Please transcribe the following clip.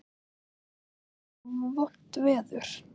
Verður þá vont veður?